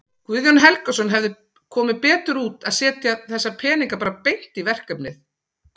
Guðjón Helgason: Hefði komið betur út að setja þessa peninga bara beint í verkefnið?